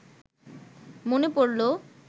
মনে পড়ল